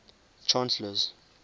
chancellors